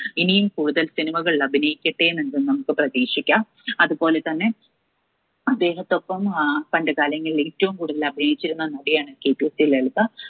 ഇനിയും കൂടുതൽ cinema കളിൽ അഭിനയിക്കട്ടെ എന്ന് നമുക്ക് പ്രതീക്ഷിക്കാം അതുപോലെ തന്നെ അദ്ദേഹത്തൊപ്പം ഏർ പണ്ട് കാലങ്ങളിൽ ഏറ്റവും കൂടുതൽ അഭിനയിച്ചിരുന്ന നടിയാണ് KPAC ലളിത